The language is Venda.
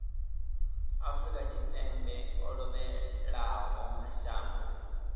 afrika tshipembe o lovhelaho mashango